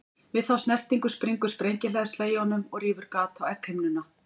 Við þá snertingu springur sprengihleðsla í honum og rýfur gat á egghimnuna.